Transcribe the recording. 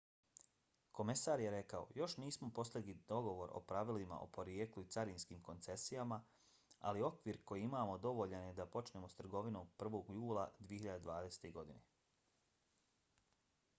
komesar je rekao: još nismo postigli dogovor o pravilima o porijeklu i carinskim koncesijama ali okvir koji imamo dovoljan je da počnemo s trgovinom 1. jula 2020. godine.